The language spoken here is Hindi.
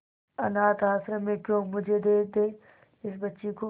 अनाथ आश्रम में क्यों मुझे दे दे इस बच्ची को